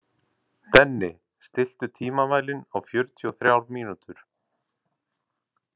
Denni, stilltu tímamælinn á fjörutíu og þrjár mínútur.